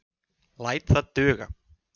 Læt það duga.